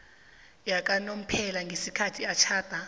yakanomphela ngesikhathi atjhada